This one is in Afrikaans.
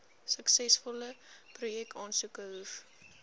suksesvolle projekaansoeke hoef